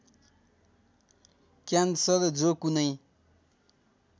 cancer जो कुनै